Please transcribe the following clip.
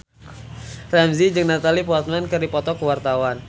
Ramzy jeung Natalie Portman keur dipoto ku wartawan